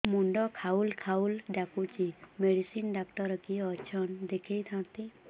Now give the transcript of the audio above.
ମୁଣ୍ଡ ଖାଉଲ୍ ଖାଉଲ୍ ଡାକୁଚି ମେଡିସିନ ଡାକ୍ତର କିଏ ଅଛନ୍ ଦେଖେଇ ଥାନ୍ତି